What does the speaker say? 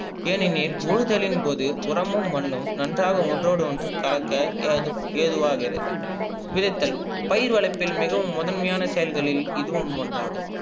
ஏனினில் உழுதலின் போது உரமும் மண்ணும் நன்றாக ஒன்ரோடு ஒன்று கலக்க எரு எருவாகிறது. விதைத்தல் பயிர் வளர்ப்பின் மிகவும் முதன்மையான செயல்களின் இதுவும் ஒன்றாகும்.